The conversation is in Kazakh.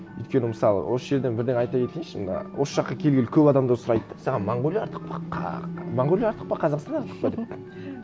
өйткені мысалы осы жерден бірдеңе айта кетейінші мына осы жаққа келгелі көп адамдар сұрайды да саған монғолия артық па монғолия артық па қазақстан артық па деп